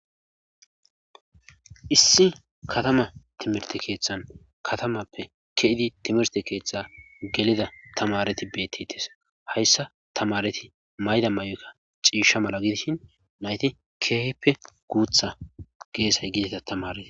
Issi katama timirtte keethan katamappe key7idi timirthe keetta gelida tamaareti beetetes hayssa tamaareti mayida mayota ciishsha mala gidishin nayti keehippe guutha geesay gidida tamareta.